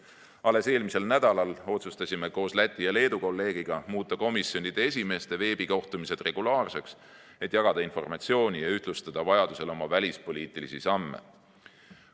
Alles eelmisel nädalal otsustasime koos Läti ja Leedu kolleegiga muuta komisjonide esimeeste veebikohtumised regulaarseks, et jagada informatsiooni ja vajaduse korral ühtlustada oma välispoliitilisi samme.